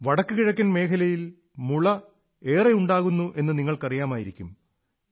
വടക്കുകിഴക്കൻ മേഖലയിൽ മുള വളരെ ഉണ്ടാകുന്നു എന്ന് നിങ്ങൾക്കറിയാമായിരിക്കും